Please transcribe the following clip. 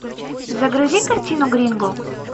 загрузи картину гринго